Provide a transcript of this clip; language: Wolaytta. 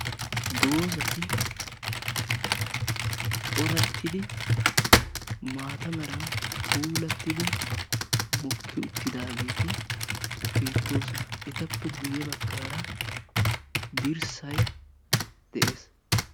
doozati coratiddi maata meran puulatiddi mokki uttidageeti beettoosona; etappe guyye baggara dirssay de'ees.